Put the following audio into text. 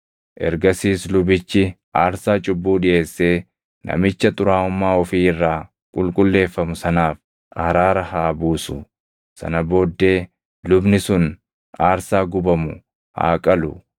“Ergasiis lubichi aarsaa cubbuu dhiʼeessee namicha xuraaʼummaa ofii irraa qulqulleeffamu sanaaf araara haa buusu. Sana booddee lubni sun aarsaa gubamu haa qalu;